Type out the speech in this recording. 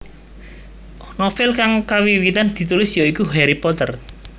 Novel kang kawiwitan ditulis ya iku Harry Potter